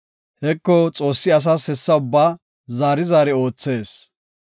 “Heko, Xoossi asas hessa ubbaa zaari zaari oothees.